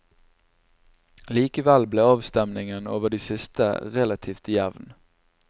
Likevel ble avstemningen over det siste relativt jevn.